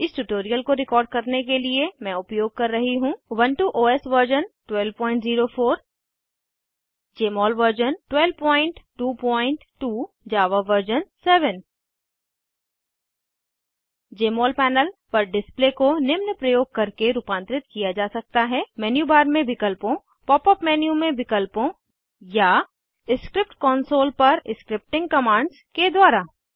इस ट्यूटोरियल को रिकॉर्ड करने के लिए मैं उपयोग कर रही हूँ Ubuntu OS version 1204 Jmol version 1222 Java version 7 Jmol panel पर डिस्प्ले को निम्न प्रयोग करके रूपांतरित किया जा सकता है मेन्यू बार में विकल्पों पॉप अप मेन्यू में विकल्पों या स्क्रिप्ट कॉन्सोल पर स्क्रिप्टिंग कमांड्स के द्वारा